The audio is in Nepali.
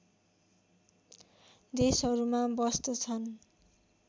देशहरूमा बस्तछन्